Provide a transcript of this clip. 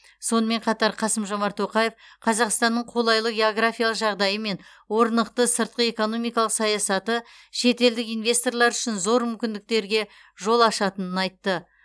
сонымен қатар қасым жомарт тоқаев қазақстанның қолайлы географиялық жағдайы мен орнықты сыртқы экономикалық саясаты шетелдік инвесторлар үшін зор мүмкіндіктерге жол ашатынын айтты